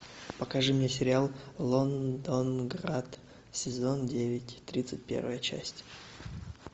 покажи мне сериал лондонград сезон девять тридцать первая часть